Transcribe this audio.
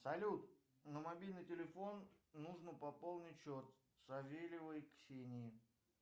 салют на мобильный телефон нужно пополнить счет савельевой ксении